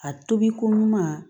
A tobiko ɲuman